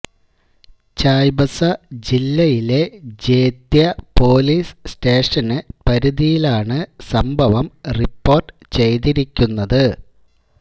ചായ്ബസ ജില്ലയിലെ ജേത്യ police station പരിധിയിലാണ് സംഭവം റിപ്പോര്ട്ട് ചെയ്തിരിക്കുന്നത്